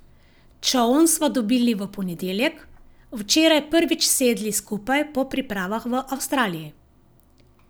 Čoln sva dobili v ponedeljek, včeraj prvič sedli skupaj po pripravah v Avstraliji.